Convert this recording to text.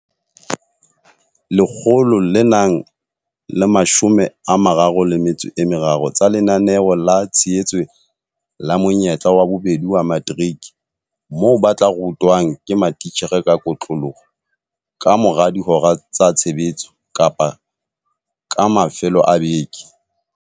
133 tsa Lenaneo la Tshehetso la Monyetla wa Bobedi wa Materiki moo ba tla rutwang ke matitjhere ka kotloloho ka mora dihora tsa tshebetso kapa ka mafelo a beke.